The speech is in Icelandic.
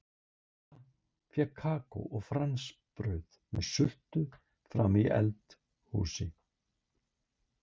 Lilla fékk kakó og franskbrauð með sultu frammi í eld- húsi.